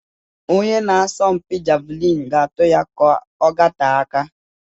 Onye na-asọmpi Javelin ga-atu ya kà ọ gatee aka.